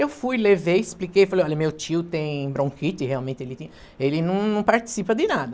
Eu fui, levei, expliquei, falei, olha, meu tio tem bronquite, realmente ele tinha, ele não não participa de nada.